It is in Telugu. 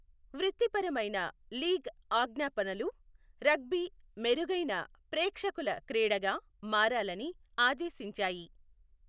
వృత్తిపరమైన లీగ్ ఆజ్ఞాపనలు రగ్బీ మెరుగైన 'ప్రేక్షకుల' క్రీడగా మారాలని ఆదేశించాయి.